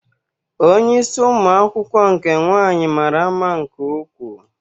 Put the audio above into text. Onye isi ụmụ akwụkwọ nke nwaanyị mara mma nke ukwuu.